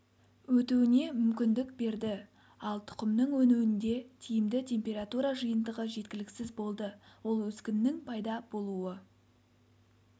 өтуіне мүмкіндік берді ал тұқымның өнуінде тиімді температура жиынтығы жеткіліксіз болды ол өскіннің пайда болуы